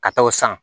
Ka taa o san